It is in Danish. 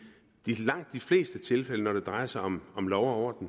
langt de fleste tilfælde når det drejer sig om om lov og